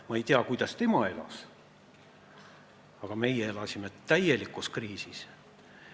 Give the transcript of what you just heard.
" Ma ei tea, kuidas tema elas, aga meie elasime täielikus kriisis.